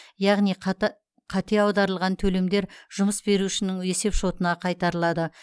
яғни қате аударылған төлемдер жұмыс берушінің есепшотына қайтарылады